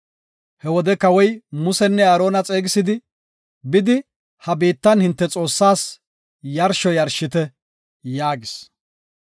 He wode kawoy Musenne Aarona xeegisidi, “Bidi, ha biittan hinte Xoossaas yarsho yarshite” yaagis.